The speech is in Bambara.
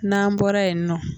Naan bɔra yen nɔ.